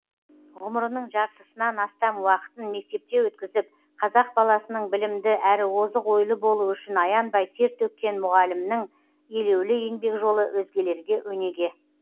ғұмырының жарытысынан астам уақытын мектепте өткізіп қазақ баласының білімді әрі озық ойлы болуы үшін аянбай тер төккен мұғалімнің елеулі еңбек жолы өзгелерге өнеге